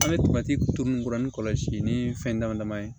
An bɛ to ka turu ninnu kɔrɔ ni kɔlɔsi ni fɛn dama dama ye